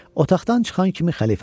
Otaqdan çıxan kimi xəlifə dedi: